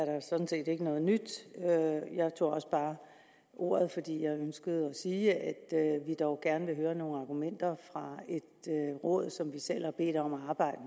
er der sådan set ikke noget nyt i jeg tog også bare ordet fordi jeg ønskede at sige at vi dog gerne vil høre nogle argumenter fra et råd som vi selv har bedt om at arbejde